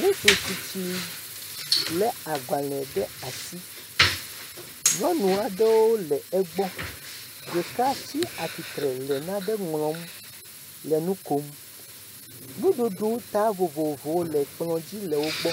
Ŋutsu tsitsi lé agbalẽ ɖe asi, nyɔnu aɖewo le egbɔ ɖeka tsi atsitre le nane ŋlɔm le nu kom, nuɖuɖu ta vovovowo le kplɔ dzi le wo gbɔ,